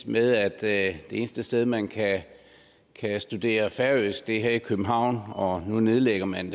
med at det eneste sted man kan studere færøsk er her i københavn og det nedlægger man